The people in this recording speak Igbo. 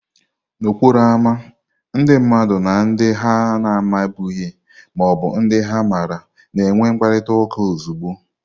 N'okporo ámá, ndị mmadụ na ndị ha na-amabughị ma ọ bụ ndị ha maara na-enwe mkparịta ụka ozugbo.